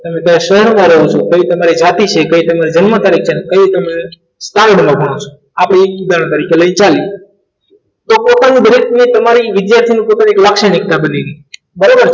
તમે કયા શહેરમાં રહો છો? કઈ તમારી જાતિ છે કઈ સર મારી જન્મ તારીખ છે અને કહ્યું તમે ચાંદ લખો છો આપણી ઉદાહરણ તરીકે લઈને ચાલીએ તો ટોટલી બધું એ બધાએ બિઝનેસ થી બિઝનેસ લાક્ષણિકતા બની ગઈ